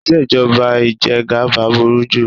Ìṣèjọba ìjẹgaba burú jù.